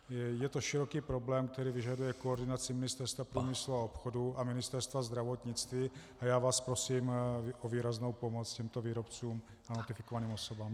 Je to široký problém, který vyžaduje koordinaci Ministerstva průmyslu a obchodu a Ministerstva zdravotnictví, a já vás prosím o výraznou pomoc těmto výrobcům a notifikovaným osobám.